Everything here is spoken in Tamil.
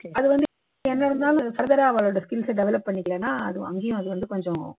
அது வந்து என்ன இருந்தாலும் further ஆ அவாளோட skills அ develop பண்ணிக்கலன்னா அது அங்கயும் அது வந்து கொஞ்சம்